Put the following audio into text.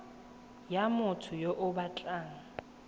ya motho yo o batlang